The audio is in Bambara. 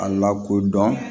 A lakodɔn